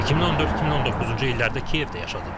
2014-2019-cu illərdə Kiyevdə yaşadım.